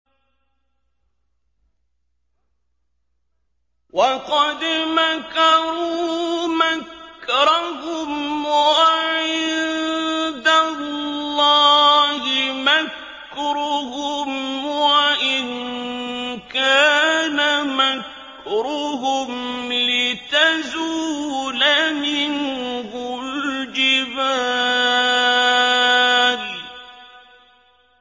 وَقَدْ مَكَرُوا مَكْرَهُمْ وَعِندَ اللَّهِ مَكْرُهُمْ وَإِن كَانَ مَكْرُهُمْ لِتَزُولَ مِنْهُ الْجِبَالُ